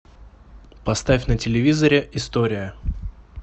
поставь на телевизоре история